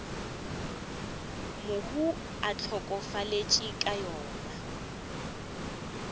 mohu a hlokafetšego ka yona